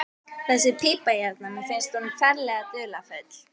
Þessi pípa hérna. mér finnst hún ferlega dularfull.